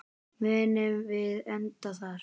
Munum við enda þar?